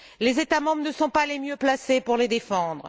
Les États membres ne sont pas les mieux placés pour les défendre.